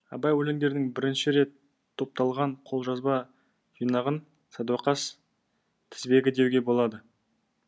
абай өлеңдерінің бірінші рет топталған қолжазба жинағын садуақас тізбегі деуге болады